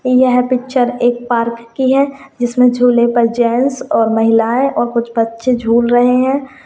यह पिक्चर एक पार्क की है जिस में झूले पर जेंट्स महिलाए और कुछ बच्चे झूल रहे है।